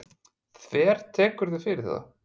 Þvertekurðu fyrir það?